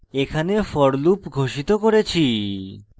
এখানে for loop ঘোষিত করেছি